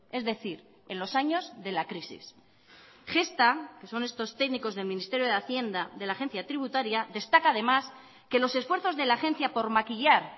es decir en los años de la crisis gestha que son estos técnicos del ministerio de hacienda de la agencia tributaria destaca además que los esfuerzos de la agencia por maquillar